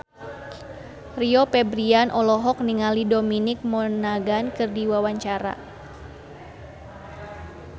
Rio Febrian olohok ningali Dominic Monaghan keur diwawancara